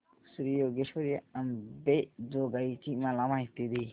श्री योगेश्वरी अंबेजोगाई ची मला माहिती दे